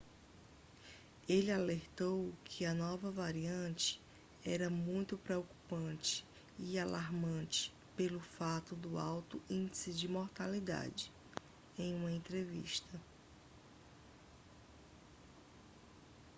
ele alertou que a nova variante era muito preocupante e alarmante pelo fato do alto índice de mortalidade em uma entrevista